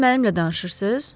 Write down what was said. Siz mənimlə danışırsız?